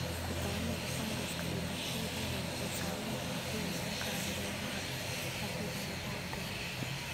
Kutaannada, fangaska, iyo bakteeriyada waxay saameyn xun ku yeelan karaan beeraha haddii aan laga hortagin.